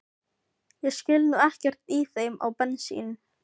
Ég skil nú ekkert í þeim á bensín